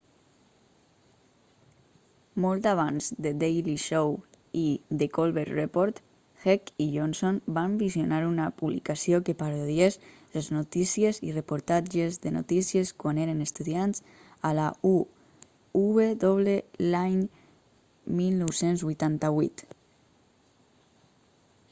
molt abans de the daily show i the colbert report heck i johnson van visionar una publicació que parodiés les notíciesi reportatges de notíciesquan eren estudiants a la uw l'any1988